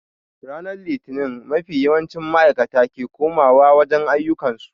Ranar litini mafi yawancin maaikata ke koma wa wajen ayyukan su